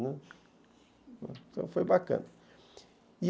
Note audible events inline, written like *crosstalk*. *unintelligible* Então foi bacana, e